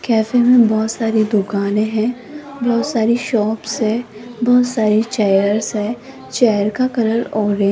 cabin में बहुत सारी दुकानें हैं बहुत सारी शॉप्स है बहुत सारी चेयर्स है चेयर का कलर ऑरेंज --